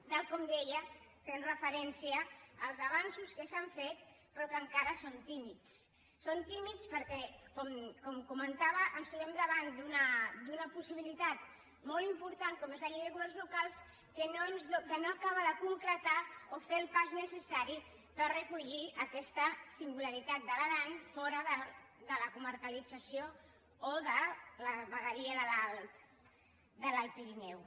tal com deia fent referència als avanços que s’han fet però que encara són tímids són tímids perquè com comentava ens trobem davant d’una possibilitat molt important com és la llei de governs locals que no acaba de concretar o fer el pas necessari per recollir aquesta singularitat de l’aran fora de la comarcalització o de la vegueria de l’alt pirineu